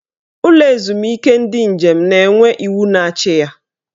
Ụlọ ezumike ndị njem na-enwe iwu na-achị ya.